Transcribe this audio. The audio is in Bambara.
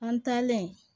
An taalen